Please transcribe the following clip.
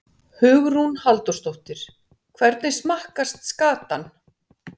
Hugrún Halldórsdóttir: Hvernig smakkast skatan?